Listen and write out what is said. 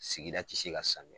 Sigida te se ka sanuya